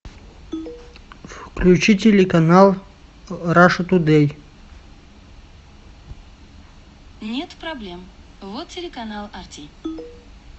включи телеканал раша тудей